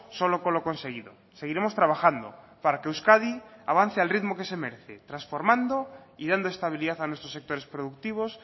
solo con lo conseguido seguiremos trabajando para que euskadi avance al ritmo que se merece transformando y dando estabilidad a nuestros sectores productivos